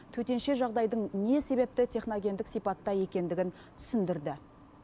төтенше жағдайдың не себепті техногендік сипатта екендігін түсіндірді